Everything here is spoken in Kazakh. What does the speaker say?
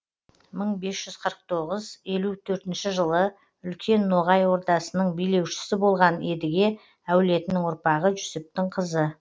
мың бес жүз қырық тоғыз елу төртінші жылы үлкен ноғай ордасының билеушісі болған едіге әулетінің ұрпағы жүсіптің қызы